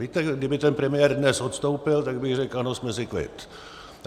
Víte, kdyby ten premiér dnes odstoupil, tak bych řekl ano, jsme si kvit.